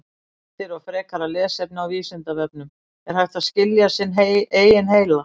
Heimildir og frekara lesefni á Vísindavefnum: Er hægt að skilja sinn eigin heila?